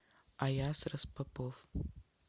аяс распопов